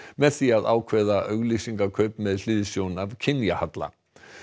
með því að ákveða auglýsingakaup með hliðsjón af kynjahalla